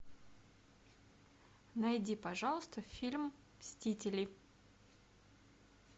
найди пожалуйста фильм мстители